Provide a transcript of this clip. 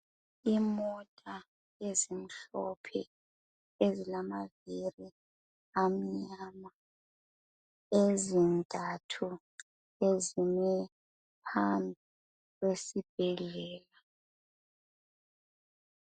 Imota ezimhlophe ezilamaviri amnyama. Ezintathu, ezime phambi kwesibhedlela.